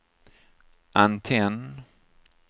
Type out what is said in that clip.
antenn